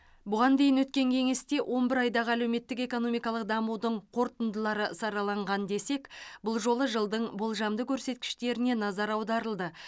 бұған дейін өткен кеңесте он бір айдағы әлеуметтік экономикалық дамудың қорытындылары сараланған десек бұл жолы жылдың болжамды көрсеткіштеріне назар аударылды